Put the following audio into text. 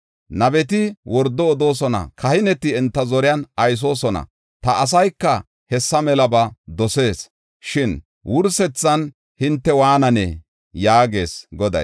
Nabeti wordo odoosona; kahineti enta zoriyan aysoosona. Ta asayka hessa melaba dosees. Shin wursethan hinte waananee?” yaagees Goday.